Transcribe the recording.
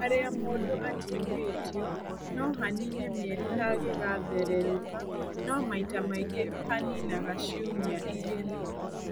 Harĩa mũndũ atihĩtio no hanine mĩeri hagĩgathererũka no maita maingĩ haninaga ciumia igĩrĩ.